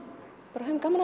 bara höfum gaman